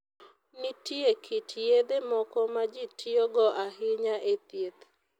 Nitie kit yedhe moko ma ji tiyogo ahinya e thieth.